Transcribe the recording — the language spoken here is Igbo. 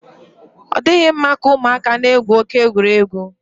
ọ dịghị mma ka ụmụaka na-egwu oke egwuregwu.